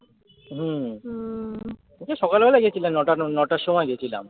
হম সকালবেলায় গেছিলাম নটা নটার সময় গেছিলাম।